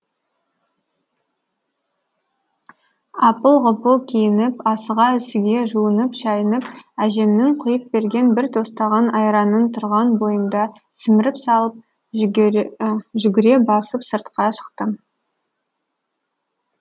апыл ғұпыл киініп асыға үсіге жуынып шайынып әжемнің құйып берген бір тостаған айранын тұрған бойымда сіміріп салып жүгіре басып сыртқа шықтым